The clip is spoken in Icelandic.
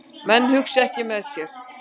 Menn hugsa ekki með sér